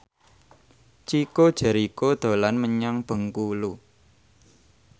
Chico Jericho dolan menyang Bengkulu